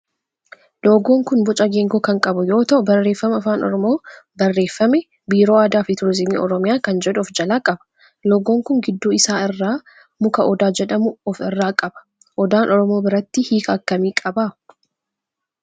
Loogoon kun boca geengoo kan qabu yoo ta'u barreeffama afaan oromoon barreeffame biiroo aadaa fi turizimii oromiyaa kan jedhu of jalaa qaba. loogoon kun gidduu isaa irraa muka odaa jedhamu of irraa qaba. Odaan oromoo biratti hiika akkamii qaba?